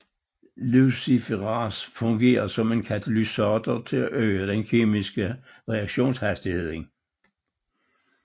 Luciferase fungerer som en katalysator til at øge den kemiske reaktionshastighed